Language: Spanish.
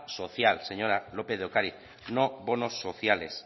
social señora lópez de ocariz no bonos sociales